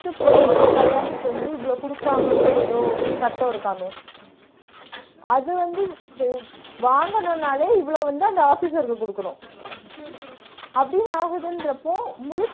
போற கல்யாணத்துக்கு வந்து இவ்ளோ குடுப்பாங்கன்னு சொல்லி ஏதோ க் சட்டம் இருக்காமே அது வந்து வாங்குனுனாலே இவ்ள வந்து அந்த officer குடுக்குனு அப்பிடின்னு ஆகுதுன்றப்போ